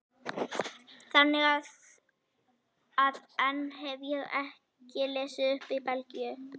Þannig að enn hef ég ekki lesið upp í Belgíu.